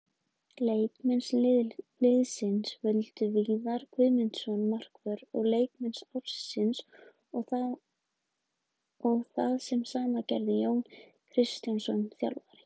Leikmenn liðsins völdu Viðar Guðmundsson markvörð leikmann ársins og það sama gerði Jón Kristjánsson þjálfari.